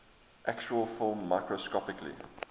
actual film microscopically